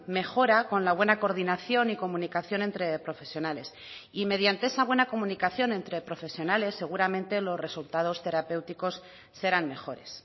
mejora con la buena coordinación y comunicación entre profesionales y mediante esa buena comunicación entre profesionales seguramente los resultados terapéuticos serán mejores